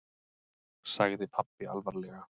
sagði pabbi alvarlega.